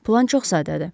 Plan çox sadədir.